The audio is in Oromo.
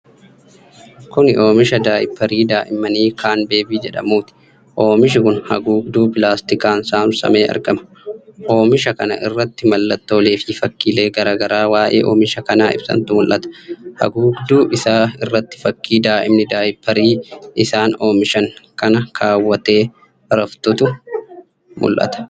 Kuni oomisha daayipparii daa'immanii 'Caanbeebii' jedhamuuti. Oomishi kun haguugduu pilaastikaan saamsamee argama. Oomisha kana irratti mallattolee fi fakkiilee garaa garaa waa'ee oomisha kanaa ibsantu mul'ata. Haguugduu isaa irratti fakkii daa'imni daayipparii isaan oomishan kana kaawwattee raftutu mul'ata.